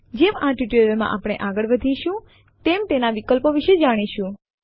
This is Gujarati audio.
જેમ આ ટ્યુટોરીયલ માં આપણે આગળ વધીશું તેમ તેના વિકલ્પો વિશે જાણીશું